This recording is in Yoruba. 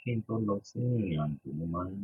Kí n tó lọ sí ìrìnàjò, mo máa ń